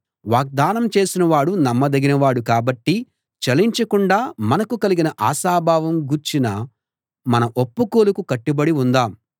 వాగ్దానం చేసినవాడు నమ్మదగినవాడు కాబట్టి చలించకుండా మనకు కలిగిన ఆశాభావం గూర్చిన మన ఒప్పుకోలుకు కట్టుబడి ఉందాం